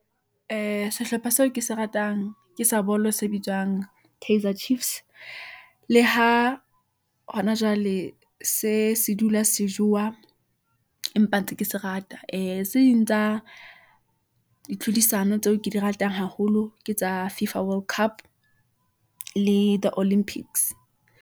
Ee, sehlopha seo ke se ratang , ke sa bolo se bitswang kaizer chiefs . Le ha hona jwale , se dula se jowa , empa ntse ke se rata. Ee, tse ding tsa dilhodisano, tseo ke di ratang haholo , ke tsa fifa world cup le the olympics.